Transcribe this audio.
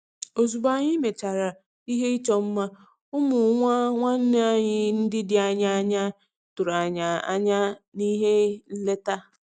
Ozugbo anyị mechara ihe ịchọ mma, ụmụ nwa nwanne anyi ndi dị anya tụrụ anyị anya na ihe nleta.